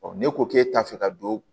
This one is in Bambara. ne ko k'e t'a fɛ ka don